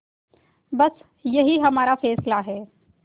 बस यही हमारा फैसला है